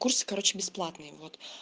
курсы короче бесплатные вот